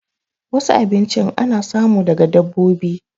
Wasu abinchin ana samu daga dabbobi